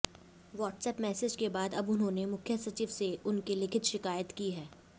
WhatsApp message के बाद अब उन्होंने मुख्य सचिव से उनकी लिखित शिकायत की है